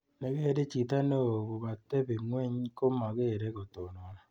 Nekere chito neos ko katebi ng'ony, komekere ko ketenon.